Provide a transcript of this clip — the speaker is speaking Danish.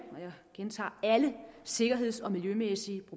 og jeg gentager alle sikkerheds og miljømæssige